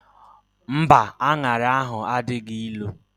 Mba, anyara ahu adịghị ịnụ